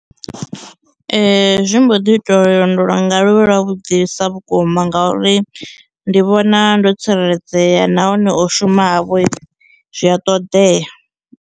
Zwi mbo ḓi ita uri lwendo lwa nga lu vhe lwa vhuḓisa vhukuma ngauri ndi vhona ndo tsireledzea nahone o shuma havho zwi a ṱoḓea.